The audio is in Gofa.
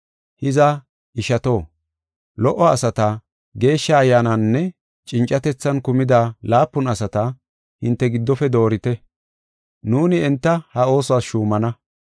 Hiza, ishato, lo77o asata, Geeshsha Ayyaananinne cincatethan kumida laapun asata hinte giddofe doorite; nuuni enta ha oosuwas shuumana.